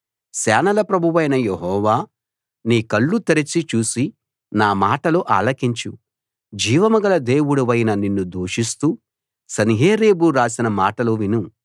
సేనల ప్రభువైన యెహోవా నీ కళ్ళు తెరచి చూసి నా మాటలు ఆలకించు జీవం గల దేవుడవైన నిన్ను దూషిస్తూ సన్హెరీబు రాసిన మాటలు విను